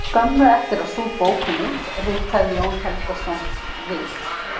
Skömmu eftir að sú bók kom út ritaði Jón Helgason: Við